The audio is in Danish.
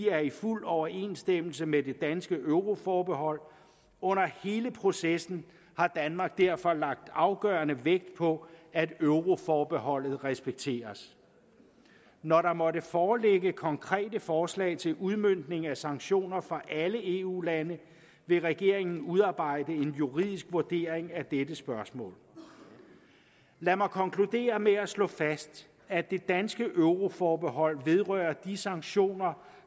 er i fuld overensstemmelse med det danske euroforbehold under hele processen har danmark derfor lagt afgørende vægt på at euroforbeholdet respekteres når der måtte foreligge konkrete forslag til udmøntning af sanktioner fra alle eu lande vil regeringen udarbejde en juridisk vurdering af dette spørgsmål lad mig konkludere med at slå fast at det danske euroforbehold vedrører de sanktioner